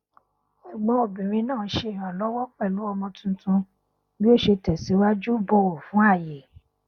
ẹgbọn obìnrin náà ṣe ìrànlọwọ pẹlú ọmọ tuntun bí ó ṣe tẹsìwájú bọwọ fún ààyè